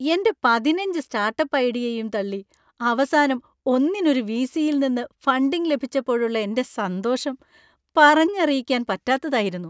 എൻ്റെ പതിനഞ്ച് സ്റ്റാർട്ടപ്പ് ഐഡിയയും തള്ളി അവസാനം ഒന്നിന് ഒരു വി.സി.യിൽ നിന്ന് ഫണ്ടിംഗ് ലഭിച്ചപ്പോഴുള്ള എൻ്റെ സന്തോഷം പറഞ്ഞറിയിക്കാൻ പറ്റാത്തതായിരുന്നു.